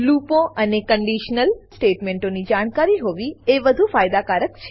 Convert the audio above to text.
લૂપો અને કંડીશનલ સ્ટેટમેંટોની જાણકારી હોવી એ વધુ ફાયદાકારક છે